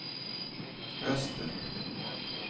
öster